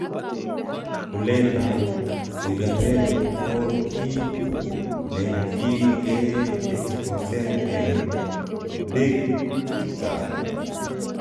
kulet ab sigaret ko git ne ki ge exposen en big chechang